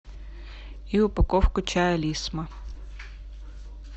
и упаковку чая лисма